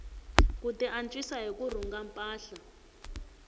ku tiantswisa hi ku rhunga mpahla